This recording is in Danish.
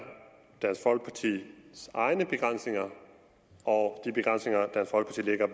dansk folkepartis egne begrænsninger og